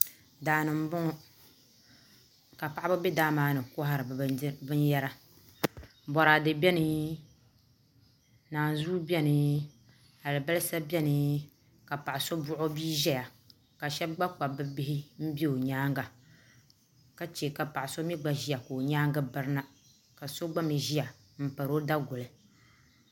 Daani nbɔŋɔ ka paɣaba bɛ daa maani n kɔhiri bi bini yara bɔradɛ bɛni nanzuu bɛni alibasa bɛni ka paɣa so buɣi o bia zaya ka ahɛba gba kpabi bi bihi n zɛya o yɛanga ka chɛ ka paɣa so mɛ gba zɛya ka o yɛanga biri na ka so gba mi ziya n pari o daguli.